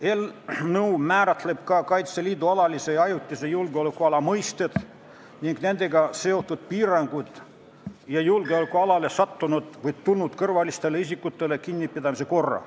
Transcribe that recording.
Eelnõu määratleb ka Kaitseliidu alalise ja ajutise julgeolekuala mõisted ning nendega seotud piirangud ja julgeolekualale sattunud või tulnud kõrvaliste isikute kinnipidamise korra.